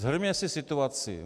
Shrňme si situaci.